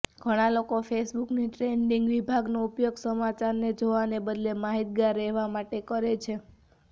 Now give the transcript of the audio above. ઘણા લોકો ફેસબુકની ટ્રેન્ડીંગ વિભાગનો ઉપયોગ સમાચારને જોવાને બદલે માહિતગાર રહેવા માટે કરે છે